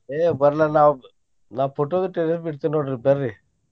ಏ ಬರ್ಲಿ ನಾ ನಾ photo ದು ತೆಗಿಯಾಂಗ್ ಇಡ್ತಿನಿ ನೋಡ್ರಿ ಬರ್ರಿ.